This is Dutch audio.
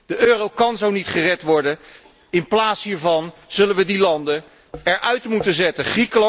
De euro kan zo niet gered worden. In plaats hiervan zullen wij die landen eruit moeten zetten.